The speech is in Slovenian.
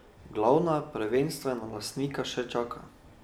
Glavna, prvenstvena, lastnika še čaka.